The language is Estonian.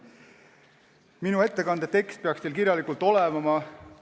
Minu ettekande tekst peaks teil kirjalikult olemas olema.